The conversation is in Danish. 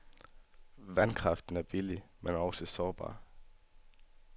Vandkraften er billig, men også sårbar.